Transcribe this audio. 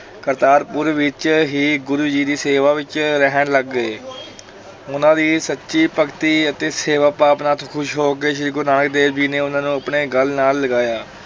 ਕਰਤਾਰਪੁਰ ਵਿੱਚ ਹੀ ਗੁਰੂ ਜੀ ਦੀ ਸੇਵਾ ਵਿੱਚ ਰਹਿਣ ਲੱਗ ਗਏ ਉਹਨਾਂ ਦੀ ਸੱਚੀ ਭਗਤੀ ਅਤੇ ਸੇਵਾ ਭਾਵਨਾ ਤੋਂ ਖ਼ੁਸ਼ ਹੋ ਕੇ ਸ੍ਰੀ ਗੁਰੂ ਨਾਨਕ ਦੇਵ ਜੀ ਨੇ ਉਹਨਾਂ ਨੂੰ ਆਪਣੇ ਗਲ ਨਾਲ ਲਗਾਇਆ।